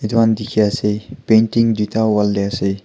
itukhan dikhi ase painting duita wall tey ase.